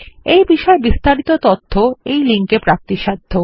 এই বিষয় বিস্তারিত তথ্য এই লিঙ্ক এ প্রাপ্তিসাধ্য